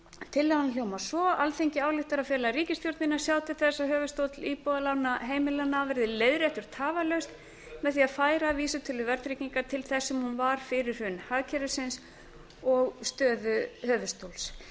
tillagan hljóðar svo alþingi ályktar að fela ríkisstjórninni að sjá til þess að höfuðstóll íbúðalána heimilanna verði leiðréttur tafarlaust með því að færa vísitölu verðtryggingar til þess sem hún var fyrir hrun hagkerfisins og stöðu höfuðstóls